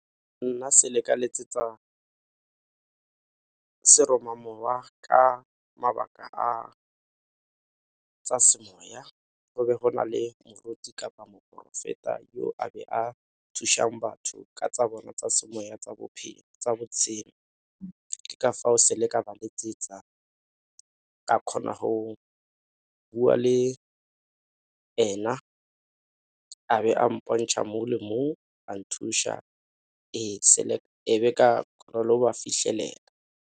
Nna ka letsetsa seromamowa ka mabaka a tsa semoya go be go na le moruti kapa moporofeta yo a be a thušang batho ka tsa bona tsa semoya, tsa botshelo. Ke ka fao ka ba letsetsa ka kgona go bua le ena, a be a mpontšha mo le mo a nthuša e be ka ba fitlhelela.